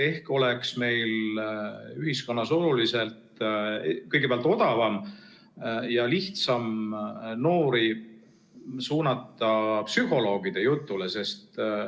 Ehk oleks meil ühiskonnas kõigepealt odavam ja lihtsam noori suunata psühholoogide jutule?